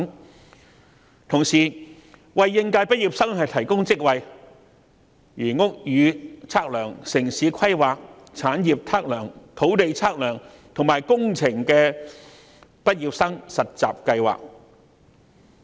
與此同時，亦會為應屆畢業生提供職位，例如屋宇測量、城市規劃、產業測量、土地測量，以及工程畢業生實習計劃。